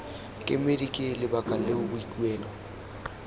kemedi ke lebaka leo boikuelo